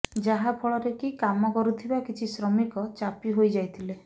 ଯାହାଫଳରେ କି କାମ କରୁଥିବା କିଛି ଶ୍ରମିକ ଚାପି ହୋଇଯାଇଥିଲେ